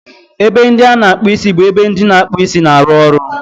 Ebe ndị a na-akpụ isi bụ ebe ndị na-akpụ isi na-arụ ọrụ